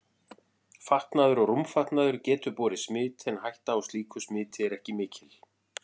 Fatnaður og rúmfatnaður getur borið smit en hætta á slíku smiti er ekki mikil.